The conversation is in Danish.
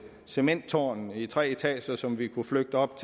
cementtårn i tre etager som vi kunne flygte op